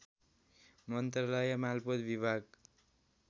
मन्त्रालय मालपोत विभाग